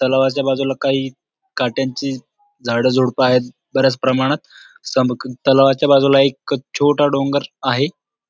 तलावाच्या बाजूला काही कटयांची झाड झुडप आहेत बऱ्याच प्रमाणात सम तलावाच्या बाजूला एक छोटा डोंगर आहे.